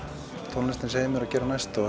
tónlistin segir mér að gera næst og